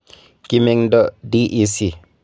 Kimeng'do DEC.